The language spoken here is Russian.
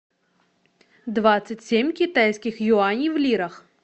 двадцать семь китайских юаней в лирах